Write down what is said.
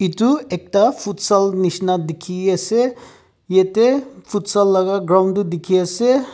itu ekta futsal nishina dikhiase yetey futsal laga ground du dikhi ase.